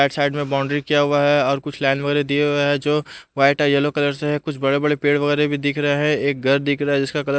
side side में boundary किया हुआ है और कुछ लाइन वगैरह दिए हुए है जो वाइट अ येलो कलर से है कुछ बड़े बड़े पेड़ वगैरा भी दिख रहे हैं एक घर दिख रहा है जिसका कलर --